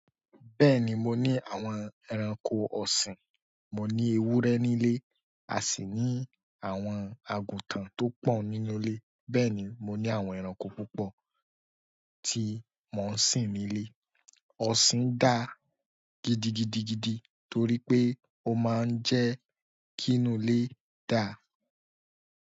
Bẹ́ẹ̀ni, mo ni àwọn ẹranko ọ̀sìn. Mo ní ewúrẹ́ nílé, a sì ní àwọn àgùntàn tó pọ̀ nínú ilé. Bẹ́ẹ̀ni, mo ní àwọn ẹranko púpọ̀ tí mò ń sìn nílé. Ọ̀sìn dàa gidigidigidi torí pé ó máa ń jẹ́ kí inú ilé dàa.